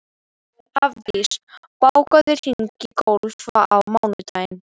Hafdís, bókaðu hring í golf á mánudaginn.